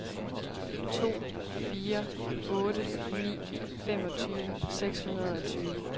to fire otte ni femogtyve seks hundrede og tyve